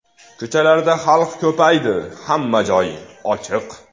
Ko‘chalarda xalq ko‘paydi, hamma joy ochiq.